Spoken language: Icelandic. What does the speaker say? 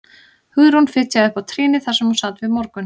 Hugrún fitjaði upp á trýnið þar sem hún sat við morgun